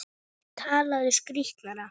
Talaðu skýrar.